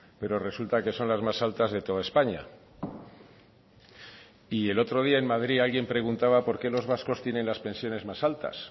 pero resulta que son las más altas de toda españa y el otro día en madrid alguien preguntaba por qué los vascos tienen las pensiones más altas